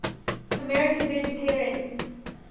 american vegetarians